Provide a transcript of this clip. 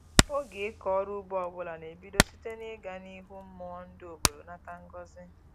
Oge ịkọ ọrụ ugbo ọbụla na-ebido site na-ịga n'ihu mmụọ ndị obodo nata ngọzị